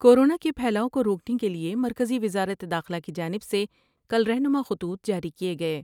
Corona کے پھیلاؤ کو روکنے کے لئے مرکزی وزارت داخلہ کی جانب سے کل رہنما خطوط جاری کئے گئے ۔